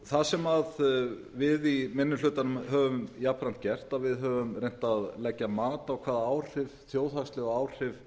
það sem við í minni hlutanum höfum jafnframt gert er að við höfum reynt að leggja mat á hvaða áhrif þjóðhagsleg áhrif